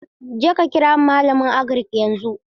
Jeka kira malamin Agirik yanzu!